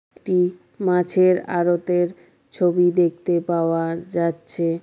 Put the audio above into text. এটি মাছের আরতের ছবি দেখতে পাওয়া যাচ্ছে।